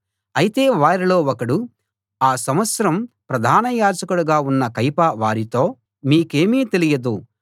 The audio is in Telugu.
అయితే వారిలో ఒకడు ఆ సంవత్సరం ప్రధాన యాజకుడిగా ఉన్న కయప వారితో మీకేమీ తెలియదు